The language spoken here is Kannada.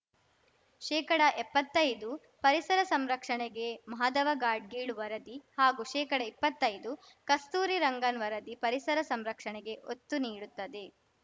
ಶೇಕಡಎಪ್ಪತ್ತೈದು ಪರಿಸರ ಸಂರಕ್ಷಣೆಗೆ ಮಾಧವ ಗಾಡ್ಗೀಳ್‌ ವರದಿ ಹಾಗೂ ಶೇಕಡಇಪ್ಪತ್ತೈದು ಕಸ್ತೂರಿ ರಂಗನ್‌ ವರದಿ ಪರಿಸರ ಸಂರಕ್ಷಣೆಗೆ ಒತ್ತು ನೀಡುತ್ತದೆ